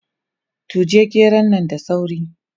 Tuge geron nan da sauri!